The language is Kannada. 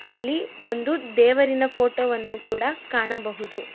ಇಲ್ಲಿ ಒಂದು ದೇವರಿನ ಫೋಟೋ ವನ್ನು ಕೂಡ ಕಾಣಬಹುದು.